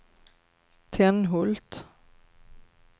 Tenhult